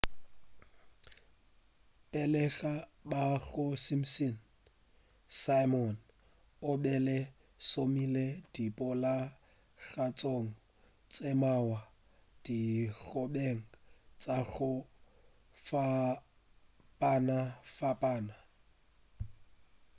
pele ga ba ga simpsons simon o be a šomile diponagatšong tše mmalwa dikgobeng tša go fapanafapana